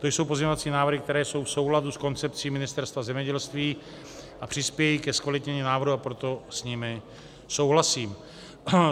To jsou pozměňovací návrhy, které jsou v souladu s koncepcí Ministerstva zemědělství a přispějí ke zkvalitnění návrhu, a proto s nimi souhlasím.